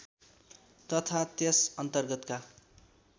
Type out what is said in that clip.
तथा त्यस अर्न्तगतका